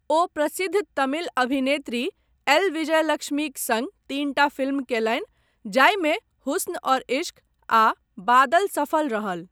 ओ प्रसिद्ध तमिल अभिनेत्री एल. विजयलक्ष्मीक सङ्ग तीनटा फिल्म कयलनि जाहिमे 'हुस्न और इश्क' आ 'बादल' सफल रहल।